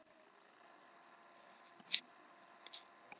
Þegar ég kom til þín upp á spítala, manstu ekki?